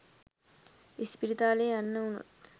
ඉස්පිරිතාලේ යන්න වුණොත්